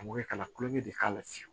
An mɔkɛ ka na kulonkɛ de k'a la fiyewu